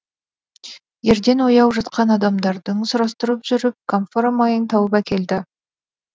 ерден ояу жатқан адамдардан сұрастырып жүріп камфора майын тауып әкелді